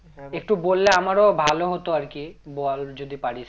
একটু বললে আমার ও ভালো হতো আর কি, বল যদি পারিস